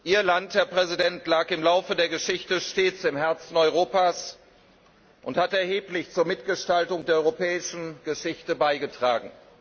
Ihr Land, Herr Präsident, lag im Laufe der Geschichte stets im Herzen Europas und hat erheblich zur Mitgestaltung der Europäischen Geschichte beigetragen.